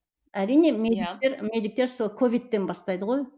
әрине медиктер сол ковидтен бастайды ғой